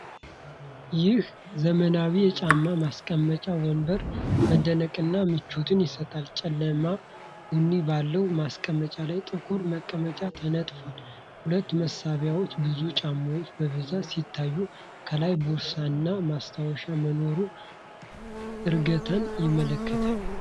ይህ ዘመናዊ የጫማ ማስቀመጫ ወንበር መደነቅንና ምቾትን ይሰጣል። ጨለማ ቡኒ ባለው ማስቀመጫ ላይ ጥቁር መቀመጫ ተነጥፏል። ሁለት መሳቢያዎች ብዙ ጫማዎችን በብዛት ሲያሳዩ፣ ከላይ ቦርሳና ማስታወሻ መኖሩ እርጋታን ያመለክታል።